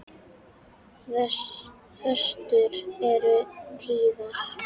Föstur eru tíðar.